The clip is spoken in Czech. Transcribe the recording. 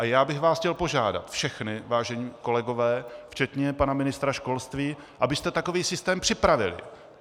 A já bych vás chtěl požádat všechny, vážení kolegové, včetně pana ministra školství, abyste takový systém připravili.